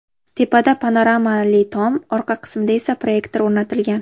Tepada panoramali tom, orqa qismida esa proyektor o‘rnatilgan.